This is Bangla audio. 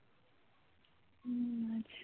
হম